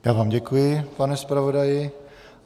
Já vám děkuji, pane zpravodaji.